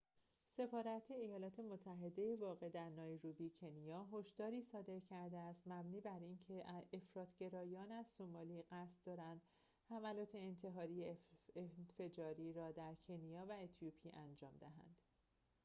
سفارت ایالات متحده واقع در نایروبی کنیا هشداری صادر کرده است مبنی بر اینکه افراط گرایان از سومالی قصد دارند حملات انتحاری انفجاری را در کنیا و اتیوپی انجام دهند